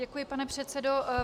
Děkuji, pane předsedo.